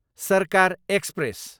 सर्कार एक्सप्रेस